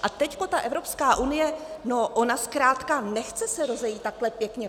A teď ta Evropská unie, no ona zkrátka nechce se rozejít takhle pěkně.